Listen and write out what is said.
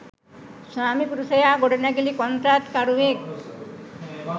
ස්වාමිපුරුෂයා ගොඩනැගිලි කොන්ත්‍රාත්කරුවෙක්.